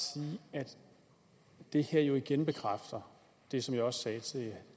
sige at det her jo igen bekræfter det som jeg også sagde til